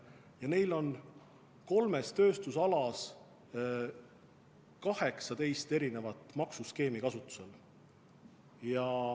Ja neil on kolmes tööstuspiirkonnas 18 erinevat maksuskeemi kasutusel.